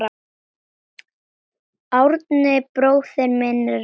Árni bróðir minn er látinn.